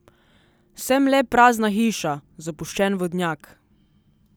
Sem le prazna hiša, zapuščen vodnjak.